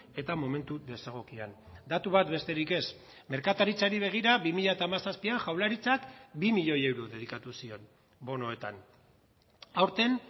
eta momentu desegokian datu bat besterik ez merkataritzari begira bi mila hamazazpian jaurlaritzak bi milioi euro dedikatu zion bonoetan aurten